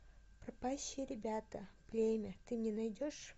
пропащие ребята племя ты мне найдешь